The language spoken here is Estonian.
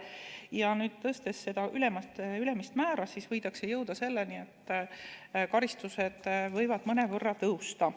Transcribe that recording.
Ja kui nüüd tõsta seda ülemist määra, siis võidakse jõuda selleni, et karistused võivad mõnevõrra tõusta.